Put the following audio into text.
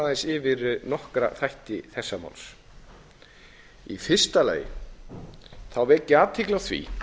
aðeins yfir nokkra þætti þessa máls í fyrsta lagi vek ég athygli á því